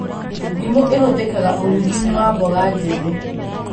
Ndimũ ĩhũthĩkaga ũrugi-inĩ wa mboga njĩthĩ